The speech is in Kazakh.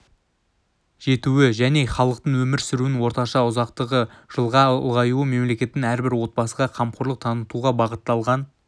жетуі және халықтың өмір сүруінің орташа ұзақтығы жылға ұлғаюы мемлекеттің әрбір отбасыға қамқорлық танытуға бағытталған